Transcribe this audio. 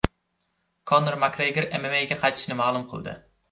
Konor Makgregor MMA’ga qaytishini ma’lum qildi.